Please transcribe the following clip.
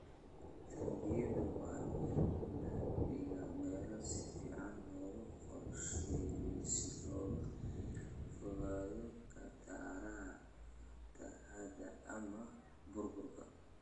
Taangiyada waa in la dhigaa meelo si fiican loo qorsheeyay si looga fogaado khataraha fatahaada ama burburka.